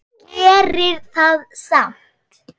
Gerir það samt.